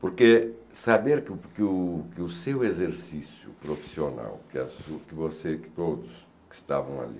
Porque saber que que o que o seu exercício profissional, que você e todos que estavam ali,